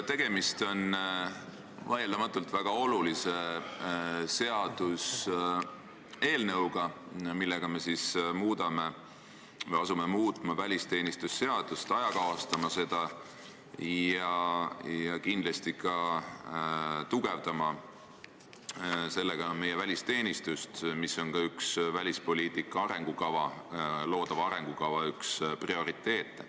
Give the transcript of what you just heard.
Tegemist on vaieldamatult väga olulise seaduseelnõuga, millega me asume muutma välisteenistuse seadust, ajakohastama seda ja kindlasti tugevdama sellega meie välisteenistust, mis on ka üks välispoliitika loodava arengukava prioriteete.